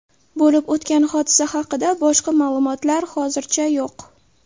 Bo‘lib o‘tgan hodisa haqida boshqa ma’lumotlar hozircha yo‘q.